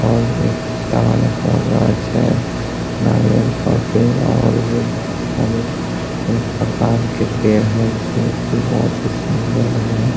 और एक ताड़ का गाछ है नारियल का पेड़ और भी बहुत सारे प्रकार के पेड़ है जो की बहुत बहुत ही सुन्दर है |